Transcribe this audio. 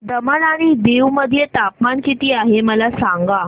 दमण आणि दीव मध्ये तापमान किती आहे मला सांगा